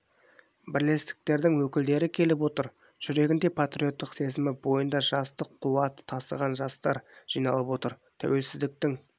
бірлестіктердің өкілдері келіп отыр жүрегінде патриоттық сезімі бойында жастық қуаты тасыған жастар жиналып отыр тәуелсіздіктің